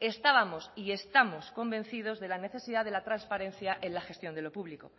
estábamos y estamos convencidos de la necesidad de la transparencia en la gestión de lo público